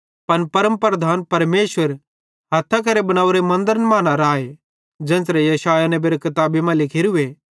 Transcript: पन परमप्रधान परमेशर हथ्थां केरे बनेवरे मन्दरन मां न राए ज़ेन्च़रे यशायाह नेबेरे किताबी मां लिखोरूए